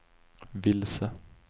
vilse